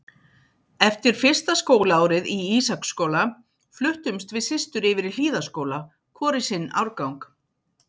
Eftir fyrsta skólaárið í Ísaksskóla fluttumst við systur yfir í Hlíðaskóla, hvor í sinn árgang.